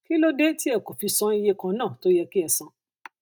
kí ló dé tí ẹ kò fi san iye kan náà tó yẹ kí ẹ san